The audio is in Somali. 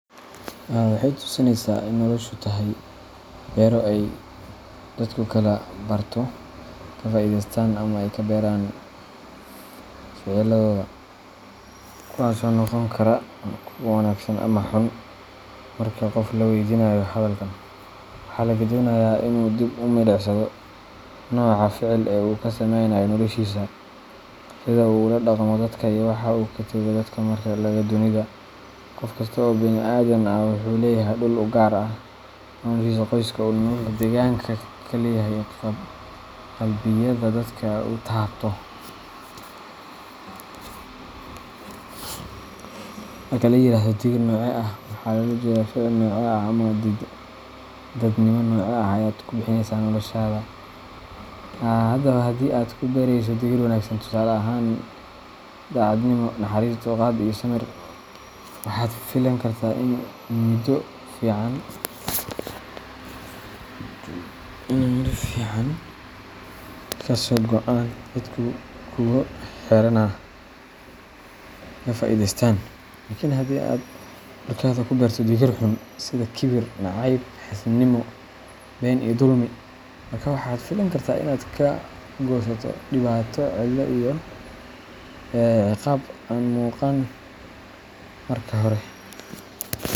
Noloshu waxay inoo tusinaysaa in ay tahay beero uu qofku ka barto, ka faa’iideysto, ama uu ka barto ficilladiisa – kuwaas oo noqon kara kuwo wanaagsan ama kuwo xun. Marka qof la weydiiyo su’aal ku saabsan noloshiisa, waxaa la rajaynayaa inuu dib u milicsado ficillada uu sameeyo iyo sida ay u saameeyaan noloshiisa, dadka uu la nool yahay, iyo waxa uu uga tegayo dunida. Qof kasta oo bini’aadam ah wuxuu leeyahay meel gaar ah oo uu u dhashay, magac, qoys, deegaan uu ku leeyahay, iyo raad qalbiyeed uu kaga tago dadka la nool. Marka la yiraahdo ticket, waxaa loola jeedaa ficil ama dabeecad gaar ah oo aad ku bixineyso nolol maalmeedkaaga. Haddii aad ku darsato tiirro wanaagsan sida daacadnimo, naxariis, dulqaad iyo samir, waxaad filan kartaa in muddo kadib ay dadka kugula xiriiraan kalgacal, una arkaan qof ay wax ka faa’iideystaan. Laakiin haddii aad ku noolaato ficillo xun sida kibir, nacayb, xaasidnimo, been iyo dulmi, waxaad filan kartaa inaad la kulanto dhibaatooyin, kalinimo, iyo in miisaaniyad la’aan bulsho kugu timaado.